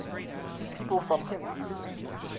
people from hims